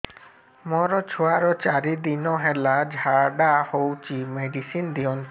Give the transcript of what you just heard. ମୋର ଛୁଆର ଚାରି ଦିନ ହେଲା ଝାଡା ହଉଚି ମେଡିସିନ ଦିଅନ୍ତୁ